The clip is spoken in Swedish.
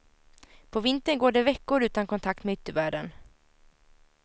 På vintern går det veckor utan kontakt med yttervärlden.